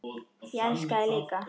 Ég elska þig líka.